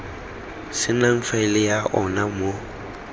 senang faele ya ona mo